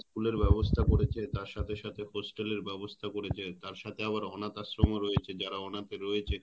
School ব্যবস্থা করেছে তার সাথে সাথে Hostel এর ব্যবস্থা করেছে তার সাথে আবার অনাথ আশ্রম ও রয়েছে যারা অনাথ রয়েছে